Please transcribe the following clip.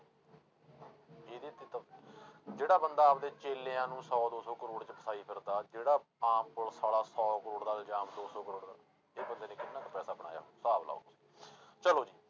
ਜਿਹੜਾ ਬੰਦਾ ਆਪਦੇ ਚੇਲਿਆਂ ਨੂੰ ਸੌ ਦੋ ਸੌ ਕਰੌੜ 'ਚ ਫਸਾਈ ਫਿਰਦਾ, ਜਿਹੜਾ ਆਮ ਪੁਲਿਸ ਵਾਲਾ ਸੌ ਕਰੌੜ ਦਾ ਇਲਜ਼ਾਮ ਦੋ ਸੌ ਕਰੌੜ ਦਾ, ਇਹ ਬੰਦੇ ਨੇ ਕਿੰਨਾ ਕੁ ਪੈਸਾ ਬਣਾਇਆ, ਹਿਸਾਬ ਲਾਓ ਚਲੋ ਜੀ।